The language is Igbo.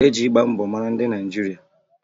E ji ịgba mbọ mara ndị Naịjirịa